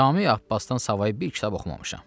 Cami Abbasdan savayı bir kitab oxumamışam.